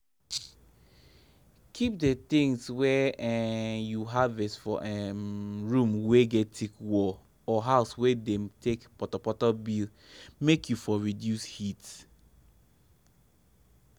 keep the things wey um u harvest for um room wey get thick wall or house wey dem take potopoto build make u for reduce heat.